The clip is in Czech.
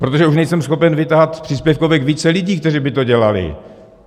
Protože už nejsem schopen vytahat z příspěvkovek více lidí, kteří by to dělali.